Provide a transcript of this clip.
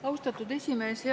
Austatud esimees!